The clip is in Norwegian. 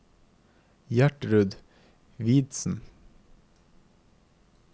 Gjertrud Hvidsten